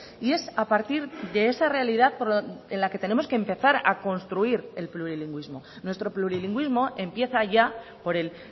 y es a partir de esa realidad en la que tenemos que empezar a construir el plurilingüismo nuestro plurilingüismo empieza ya por el